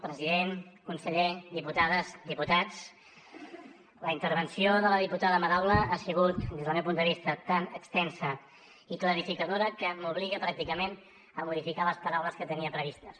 president conseller diputades diputats la intervenció de la diputada madaula ha sigut des del meu punt de vista tan extensa i clarificadora que m’obliga pràcticament a modificar les paraules que tenia previstes